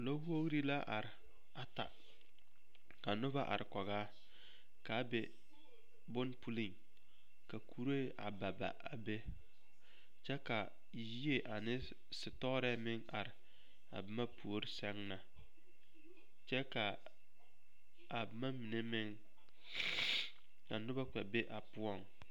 Lɔwogri la are ata kanoba are kɔge a k,a be bone puliŋ ka kuree a ba ba a be kyɛ ka yie ane setɔɔrɛɛ meŋ are a boma puori seŋ na kyɛ ka a boma mine meŋ ka noba kpɛ be a poɔŋ.